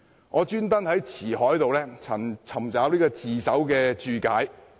我特地在《辭海》尋找"自首"一詞的解釋。